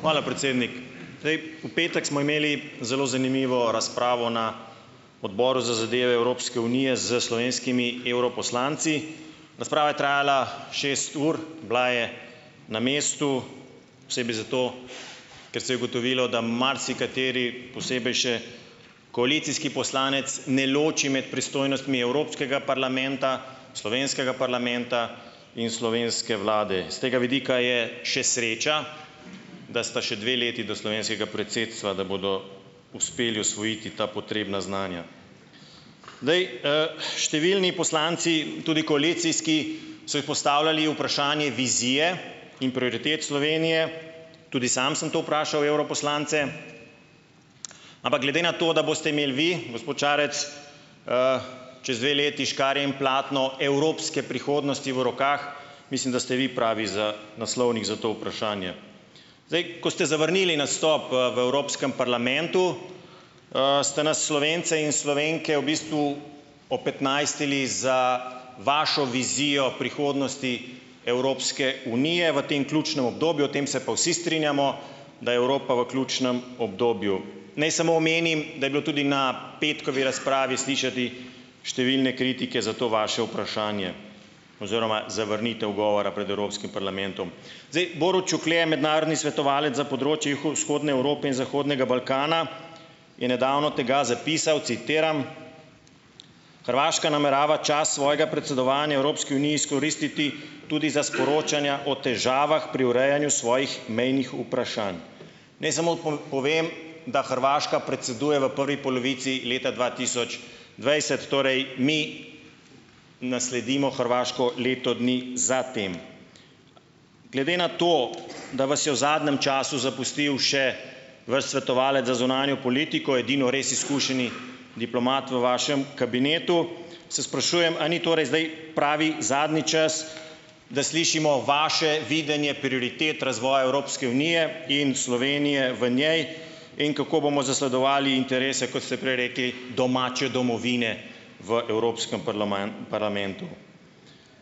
Hvala, predsednik! Zdaj, v petek smo imeli zelo zanimivo razpravo na Odboru za zadeve Evropske unije s slovenskimi evroposlanci. Razprava je trajala šest ur, bila je na mestu, posebej zato, ker se je ugotovilo, da marsikateri, posebej še koalicijski poslanec, ne loči med pristojnostmi Evropskega parlamenta, slovenskega parlamenta in slovenske vlade. S tega vidika je še sreča, da sta še dve leti do slovenskega predsedstva, da bodo uspeli osvojiti ta potrebna znanja. Zdaj, številni poslanci, tudi koalicijski, so ji postavljali vprašanje vizije in proritet Slovenije, tudi sam sem to vprašal evroposlance, ampak glede na to, da boste imeli vi, gospod Šarec, čez dve leti škarje in platno evropske prihodnosti v rokah, mislim, da ste vi pravi za naslovnik za to vprašanje. Zdaj, ko ste zavrnili nastop, v Evropskem parlamentu, ste nas Slovence in Slovenke v bistvu opetnajstili za vašo vizijo prihodnosti Evropske unije v tem ključnem obdobju - o tem se pa vsi strinjamo, da je Evropa v ključnem obdobju. Naj samo omenim, da je bilo tudi na petkovi razpravi slišati številne kritike za to vaše vprašanje oziroma zavrnitev govora pred Evropskim parlamentom. Zdaj, Borut Šuklje je mednarodni svetovalec za področje Vzhodne Evrope in Zahodnega Balkana, je nedavno tega zapisal, citiram: "Hrvaška namerava čas svojega predsedovanja Evropski uniji izkoristiti tudi za sporočanja o težavah pri urejanju svojih mejnih vprašanj" Naj samo povem, da Hrvaška predseduje v prvi polovici leta dva tisoč dvajset torej, mi nasledimo Hrvaško leto dni za tem. Glede na to , da vas je v zadnjem času zapustil še vaš svetovalec za zunanjo politiko - edino res izkušeni diplomat v vašem kabinetu, se sprašujem, a ni torej zdaj pravi, zadnji čas, da slišimo vaše videnje prioritet razvoja Evropske unije in Slovenije v njej, in kako bomo zasledovali interese - kot ste prej rekli - domače domovine v Evropskem parlamentu.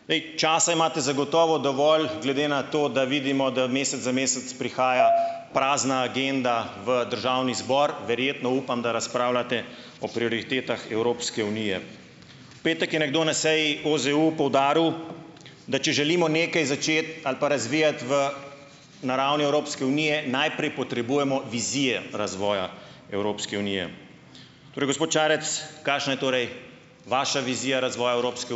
Zdaj, časa imate zagotovo dovolj, glede na to, da vidimo, da mesec za mesec prihaja prazna agenda v državni zbor. Verjetno, upam, da razpravljate o prioritetah Evropske unije. Petek je nekdo na seji OZEU poudaril, da če želimo nekaj začeti ali pa razvijati v na ravni Evropske unije, najprej potrebujemo vizije razvoja Evropske unije. Torej gospod Šarec, kakšna je torej vaša vizija razvoja Evropske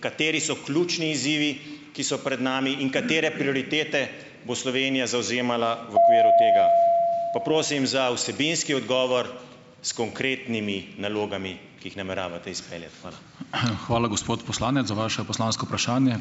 Kateri so ključni izzivi, ki so pred nami in katere prioritete bo Slovenija zavzemala v okviru tega? Pa prosim za vsebinski odgovor, s konkretnimi nalogami, ki jih nameravate izpeljati. Hvala. hvala, gospod poslanec za vaše poslansko vprašanje.